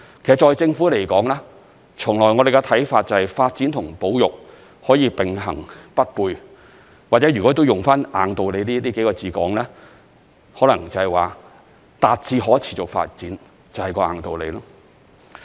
其實在政府來說，從來我們的看法是，發展和保育可以並行不悖，或者如果用"硬道理"這幾個字來形容，可能達致可持續發展就是"硬道理"。